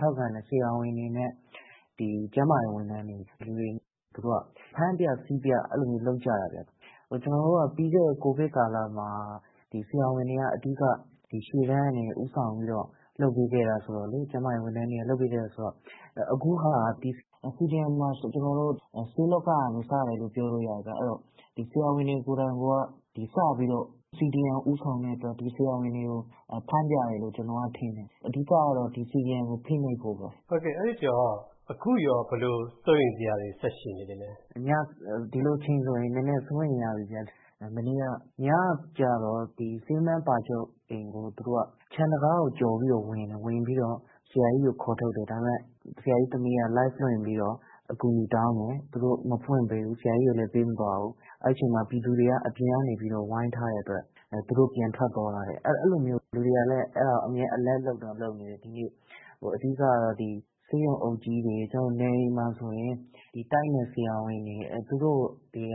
ထောက်ခံတဲ့ ဆရာဝန်တွေနဲ့ ကျန်းမာရေးဝန်ထမ်းတွေကို သူတို့က ဖမ်းပြ ဆီးပြ လုပ်ကြတာဗျ။ ကျနော်တို့က ပြီးခဲ့တဲ့ COVID ကာလမှာ ဒီဆရာဝန်တွေက အဓိက ရှေ့တန်းကနေ ဦးဆောင်ပြီးတော့ လုပ်ပေးခဲ့တာဆိုတော့လေ ကျန်းမာရေးဝန်ထမ်းတွေက လုပ်ပေးခဲ့တာဆိုတော့ CDM မှာ ကျနော်တို့ ဆေးလောကကနေ စတယ်လို့ ပြောလို့ရတယ်ဗျ။ အဲဒီတော့ ဒီ ဆရာဝန်တွေ ကိုယ်တိုင်က စပြီးတော့ CDM ကို ဦးဆောင်တဲ့အတွက် ဒီ ဆရာဝန်တွေကို ဖမ်းပြတယ်လို့ ကျနော်ထင်တယ်။ အဓိကတော့ ဒီ CDM ကို ဖိနှိပ်ဖို့ပေါ့နော်။ အဲဒီတော့ အခုရော ဘယ်လို စိုးရိမ်စရာတွေ ဆက်ရှိနေသေးသလဲ။ ဒီလိုအချိန်ဆိုရင် နည်းနည်းစိုးရိမ်ရပြီ မနေ့က ညကျတော့ ဆေးမန်း ပါချုပ် အိမ်ကို ခြံတံခါးကို ကျော်ပြီးတော့ ဝင်တယ်။ ဝင်ပြီးတော့ ဆရာကြီးကို ခေါ်ထုတ်တယ်။ ဒါပေမယ့် ဆရာကြီးသမီးက Live လွှင့်ပြီးတော့ အကူအညီတောင်းတယ်၊ သူတို့ မဖွင့်ပေးဘူး ဆရာကြီးကိုလည်း ပေးမသွားဘူး။ အဲဒီအချိန်မှာ ပြည်သူတွေက အပြင်ကနေပြီးတော့ ဝိုင်းထားတဲ့အတွက် သူတို့ပြန်ထွက်သွားရတယ်။ အဲလိုမျိုး လူတွေကလည်း အမြဲ Alert လုပ်နေတယ် ဒီနေ့။ အဓိကတော့ ဆေးရုံအုပ်ကြီးတွေ ကျနော်တို့ နယ်တွေမှာဆိုရင် ဒီ တိုက်နယ်ဆရာဝန်တွေ သူတို့ကို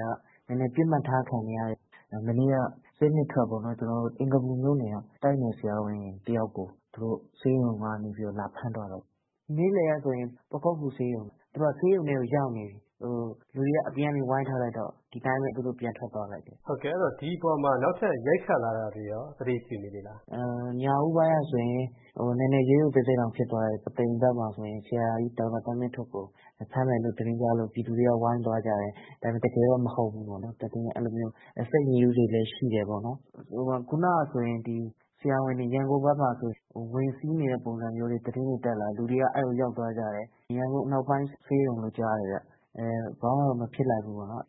နည်းနည်း ပစ်မှတ်ထားခံနေရတယ်။ မနေ့က ဆေး ၂ ထွက်ပေါ့နော် ကျနော်တို့ အင်္ဂါပူမြို့နယ်က တိုက်နယ်ဆရာဝန်တယောက်ကို သူတို့ ဆေးရုံကနေပြီးတော့ လာဖမ်းသွားတယ်။ နေ့လည်ကဆိုရင် ပခုက္ကူဆေးရုံ မှာ သူတို့က ဆေးရုံထဲမှာ ရောက်နေပြီ လူတွေက အပြင်ကနေ ဝိုင်းထားလိုက်တော့ ဒီအတိုင်းပဲ ပြန်ထွက်သွားလိုက်တယ်။ ဟုတ်ကဲ့ ဒီအပေါ်မှာ နောက်ထပ် ရိုက်ခတ်လာတာတွေရော သတိပြုမိသေးလား။ ညဦးပိုင်းကဆိုရင် နည်းနည်း ရုတ်ရုတ်သဲသဲတောင်ဖြစ်သွားတယ် ပုသိမ်မှာဆိုရင် ဆရာကြီး ဒေါက်တာသန်းမင်းထွဋ်ကို ဖမ်းမယ်လို့ သတင်းကြားလို့ ပြည်သူတွေက ဝိုင်းသွားကြတယ်။ ဒါပေမယ့် တကယ်တော့ မဟုတ်ဘူးပေါ့နော် သတင်းအဲလိုမျိုး Fake news တွေလည်း ရှိတယ်ပေါ့နော်။ ခုနကဆိုရင် ဆရာဝန်တွေ ရန်ကုန်ဘက်မှာဆိုရင် ဝင်စီးနေတဲ့ ပုံစံမျိုးတွေ သတင်းတွေ တက်လာတယ် လူတွေက အဲဒီကို ရောက်သွားကြတယ်။ ရန်ကုန်အနောက်ပိုင်း ဆေးရုံလို့ကြားတယ်ခင်ဗျ ဘာမှတော့ မဖြစ်လိုက်ဘူးပေါ့နော်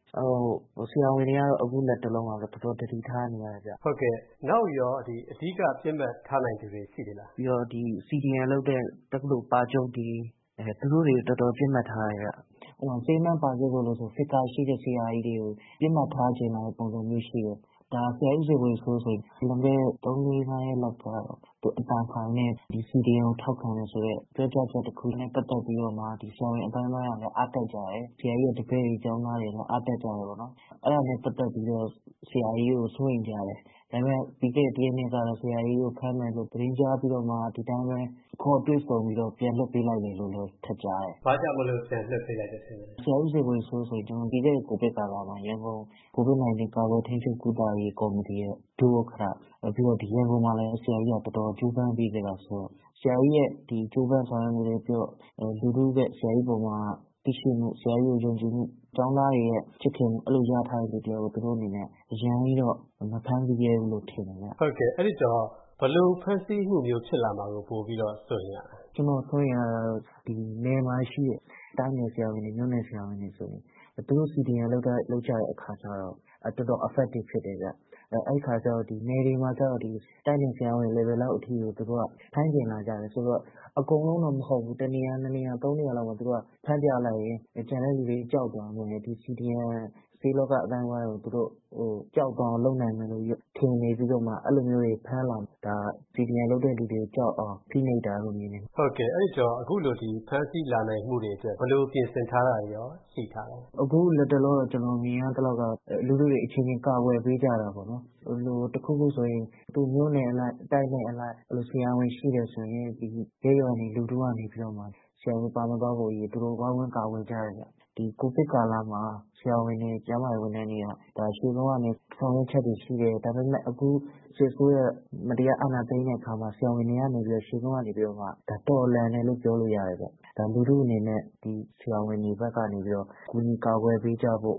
။ ဆရာဝန်တွေကတော့ အခုလက်တလောတော့ တော်တော်သတိထားနေရတယ်ခင်ဗျ။ နောက်ရော အဓိက ပစ်မှတ်ထားနိုင်တဲ့ လူတွေ ရှိသေးသလား။ ဒီ CDM လုပ်တဲ့ တက္ကသိုလ် ပါချုပ်တွေ သူတို့တွေကို တော်တေ်ာ ပစ်မှတ်ထားတယ်ခင်ဗျ။ ဥပမာ- ဆေးမန်း ပါချုပ်တို့ဆိုရင် Figure ရှိတဲ့ဆရာကြီးတွေကို ပစ်မှတ်ထားချင်လာတဲ့ ပုံစံမျိုးရှိတယ်။ ဆရာကြီး ဦးဇော်ဝေစိုး ဆိုရင် လွန်ခဲ့တဲ့ ၃၊၄၊ ၅ ရက်တုန်းက သူ့အသံဖိုင်နဲ့ CDM ကိုထောက်ခံတယ်ဆိုတဲ့ ပြောကြားချက်တခု နဲ့ ပတ်သက်ပြီးတော့မှ ဆရာဝန်အသိုင်းအဝိုင်းကလည်း အားတက်ကြတယ်။ ဆရာကြီးရဲ့ တပည့်တွေ၊ ကျောင်းသားတွေလည်း အားတက်ကြတယ်။ အဲဒါနဲ့ ပတ်သက်ပြီးတော့ဆရာကြီးကို စိုးရိမ်ကြတယ်။ ဒါပေမယ့် ပြီးခဲ့တဲ့ ၁ ရက် ၂ ရက်တုန်းကတော့ ဆရာကြီးကို ဖမ်းမယ်လို့ သတင်းကြားပြီးတော့မှ ဒီအတိုင်းပဲ ခေါ်တွေ့ဆုံပြီးတော့ ပြန်လွှတ်ပေးလိုက်တယ်လို့လည်း ထပ်ကြားတယ်။ ဘာကြောင့်မို့လို့ ပြန်လွှတ်ပေးလိုက်တယ်ထင်လဲ။ ဆရာကြီး ဦးဇော်ဝေစိုး ဆိုရင် ပြီးခဲ့တဲ့ COVID ကာလမှာ ရန်ကုန် COVID 19 ကာကွယ်ထိန်းချုပ်ကုသရေး ကော်မတီရဲ့ ဒုဥက္ကဋ္ဌ နောက်ပြီး ရန်ကုန်မှာလည်း ဆရာကြီးကတော်တော် ကြိုးပမ်းပေးခဲ့တာဆိုတော့ ဆရာကြီးရဲ့ ကြိုးပမ်းဆောင်ရွက်မှုတွေ၊ လူထုက ဆရာကြီးအပေါ်မှာ သိရှိမှု၊ ဆရာကြီး ကို ယုံကြည်မှု ၊ ကျောင်းသားတွေရဲ့ ချစ်ခင်မှု အဲလိုရထားတဲ့ လူတယောက်ကို သူတို့အနေနဲ့ အရမ်းကြီးတော့ မဖမ်းဆီးရဲဘူးလို့ ထင်တယ်။ ဟုတ်ကဲ့ အဲဒီတော့ ဘယ်လိုဖမ်းဆီးမှုမျိုးဖြစ်လာမှာကို စိုးရိမ်ရသလဲ။ ကျနော်တို့ စိုးရိမ်ရတာတော့ နယ်မှာရှိတဲ့ တိုက်နယ်ဆရာဝန်တွေ၊ မြို့နယ်ဆရာဝန်တွေဆိုရင် သူတို့ CDM လုပ်ကြတဲ့ အခါကျတော့ တော်တော် affective ဖြစ်တယ်ခင်ဗျ။ အဲဒီအခါကျတော့ နယ်တွေမှာကျတော့ တိုက်နယ်ဆရာဝန် level လောက်အထိကို သူတို့က ဖမ်းချင်လာကြတယ်ဆိုတော့ အကုန်လုံးတော့ မဟုတ်ဘူး၊ တနေရာ ၂ နေရာ ၊ ၃ နေရာလောက်မှာ သူတို့က ဖမ်းပြလိုက်ရင် ကျန်တဲ့လူတွေ ကြောက်သွားမယ်။ CDM ဆေးလောက အသိုင်းအဝိုင်းကို သူတို့ ကြောက်သွားအောင် လုပ်နိုင်မယ်လို့ ထင်နေပြီးတော့မှ အဲလို မျိုးတွေ ဖမ်းလာတာ။ ဒါက CDM လုပ်တဲ့လူတွေကြောက်အောင် ဖိနှိပ်တာလို့ မြင်ပါတယ်။ ဟုတ်ကဲ့ အဲဒီတော့ အခုလို ဖမ်းဆီးလာနိုင်မှုတွေအတွက် ဘယ်လို ပြင်ဆင်ထားတာတွေရော ရှိထားသလဲ။ အခု လက်တလော ကျနေ်ာမြင်ရသလောက်ကတော့ လူထုတွေအချင်းချင်း ကာကွယ်ပေးကြတာပေါေ့နာ်။ တခုခု ဆိုရင် သူ့မြို့နယ်အလိုက် ၊ တိုက်နယ်အလိုက် အဲလို ဆရာဝန်ရှိတယ်ဆိုရင် ရပ်ရွာမှာတွေ လူထုကနေပြီးတော့မှ ဆရာဝန်ပါမသွားဖို့အရေး သူတို့ ဝိုင်းဝန်းကာကွယ်ကြတယ်။ ဒီ COVID ကာလမှာ ဆရာဝန်တွေ ကျန်းမာရေးဝန်ထမ်းတွေက ရှေ့ဆုံးကနေ ဆောင်ရွက်ချက်တွေရှိတယ်။ ဒါပေမယ့် အခု စစ်အစိုးရ မတရားအာဏာသိမ်းတဲ့အခါမှာ ဆရာဝန်တွေကနေပြီးတော့ ရှေ့ဆုံးကနေ ဒါ တော်လှန်တယ်လို့ ပြောလို့ရတယ်။ ဒါ လူထုအနေနဲ့ ဆရာဝန်တွေဘက်ကနေ ကူညီ ကာကွယ်ပေးကြဖို့